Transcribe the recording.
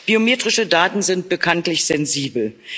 Biometrische Daten sind bekanntlich sensibel